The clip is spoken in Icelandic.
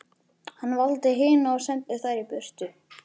Hann valdi hina og sendi þær burt.